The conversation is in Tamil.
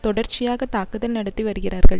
தொடர்ச்சியாக தாக்குதல் நடத்தி வருகிறார்கள்